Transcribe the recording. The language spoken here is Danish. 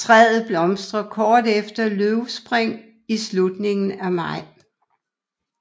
Træet blomstrer kort efter løvspring i slutningen af maj